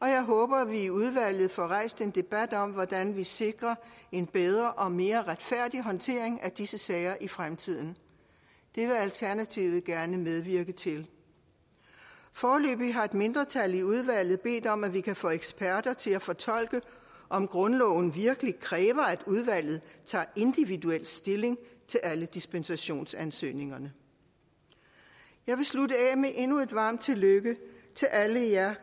og jeg håber at vi i udvalget får rejst en debat om hvordan vi sikrer en bedre og mere retfærdig håndtering af disse sager i fremtiden det vil alternativet gerne medvirke til foreløbig har et mindretal i udvalget bedt om at vi kan få eksperter til at fortolke om grundloven virkelig kræver at udvalget tager individuel stilling til alle dispensationsansøgninger jeg vil slutte af med endnu et varmt tillykke til alle de